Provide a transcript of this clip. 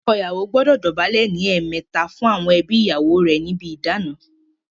Ọkọ ìyàwó gbọdọ dọ̀bálẹ̀ ní ẹ̀ẹ̀mẹta fún àwọn ẹbí ìyàwó rè níbi ìdána.